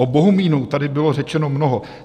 O Bohumínu tady bylo řečeno mnoho.